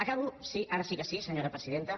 acabo ara sí que sí senyora presidenta